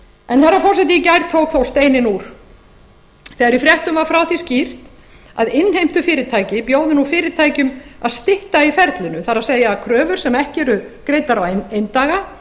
herra forseti í gær tók þó steininn úr þegar í fréttum var frá því skýrt að innheimtufyrirtæki bjóði nú fyrirtækjum að stytta í ferlinu það er að kröfur sem ekki eru greiddar á eindaga